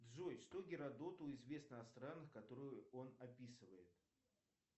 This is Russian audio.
джой что геродоту известно о странах которые он описывает